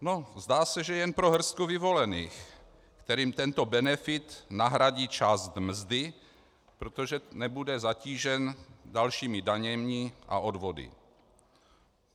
Zdá se, že jen pro hrstku vyvolených, kterým tento benefit nahradí část mzdy, protože nebude zatížen dalšími daněmi a odvody.